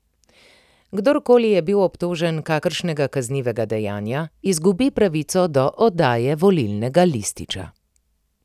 Kdor koli je bil obtožen kakšnega kaznivega dejanja, izgubi pravico do oddaje volilnega lističa.